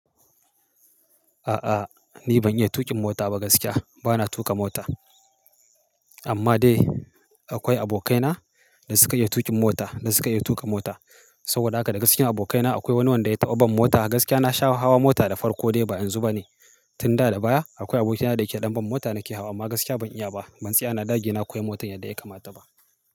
A'a, ni ban iya tuƙin mota ba gaskiya. Bana tuƙa mota. Amma dai akwai abokaina da suke iya tuƙin mota da suke iya tuƙa mota. Saboda haka da gaskiya abokaina akwai wani wanda ya taɓa ban mota. Gaskiya na sha hawa mota da farko dai ba yanzu bane. Tun da da baya akwai abokina da yake ɗan ban mota nake hawa amma gaskiya ban iya ba. Ban tsaya na dage na koyi motar yadda ya kamata ba.